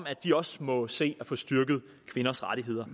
at de også må se at få styrket kvinders rettigheder